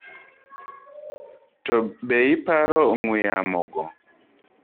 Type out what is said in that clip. Too be iparo ong'wee yamo go?